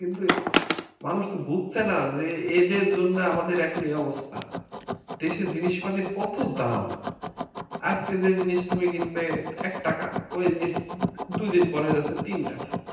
কিন্তু মানুষ তো বুঝছে না যে এদের জন্যে আমাদের এখন এ অবস্থা দেশের জিনিস পাতির কত দাম আজকে যে জিনিস টা কিনবে একটাকা ঐ জিনিস দুই দিন পরে হয়ে যাচ্ছে তিন টাকা